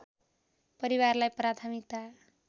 परिवारलाई प्राथमिकता